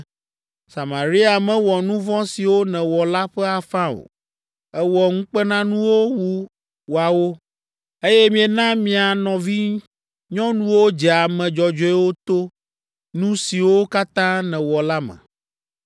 Samaria mewɔ nu vɔ̃ siwo nèwɔ la ƒe afã o. Èwɔ ŋukpenanuwo wu woawo, eye miena mia nɔvinyɔnuwo dze ame dzɔdzɔewo to nu siwo katã nèwɔ la me.